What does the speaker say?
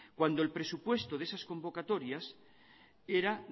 cuando el presupuesto de esas convocatorias era